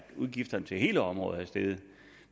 udgifterne til hele området er steget